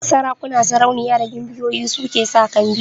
Sarakuna, sarauniya da gimbiyoyi su ke sa kambi